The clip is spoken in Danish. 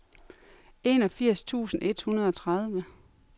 enogfirs tusind et hundrede og tredive